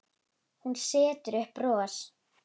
Hún setur upp bros.